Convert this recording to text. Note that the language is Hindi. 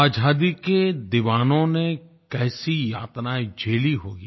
आज़ादी के दीवानों ने कैसी यातनाएँ झेली होंगी